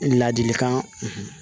Ladilikan